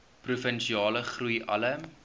provinsiale groei alle